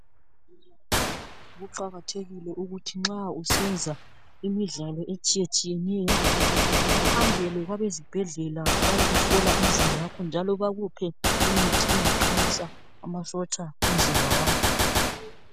Kuqakathekile ukuthi nxa usenza imidlalo etshiyetshiyeneyo uhambele kwabe zibhedlela bayekuhlola umzimba wakho njalo bakuphe imithi engaqinisa amasotsha omzimba wakho.